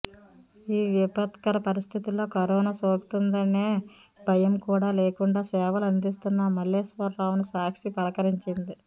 ఈ విపత్కర పరిస్థితుల్లో కరోనా సోకుతుందనే భయం కూడా లేకుండా సేవలు అందిస్తున్న మల్లేశ్వరరావుని సాక్షి పలకరించింది